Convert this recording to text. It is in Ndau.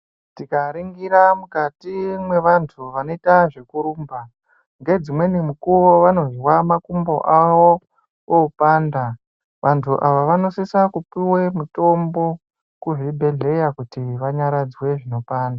Tikaringira mukati mwevantu vanoita zvekurumba ngedzimweni mukuwo vanozwa makumbo awo opanda, vantu ava vanosisa kupiwe mitombo kuzvibhehlera kuti vanyaradzwe zvinopanda .